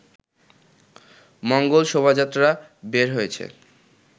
মঙ্গল শোভাযাত্রা বের হয়েছে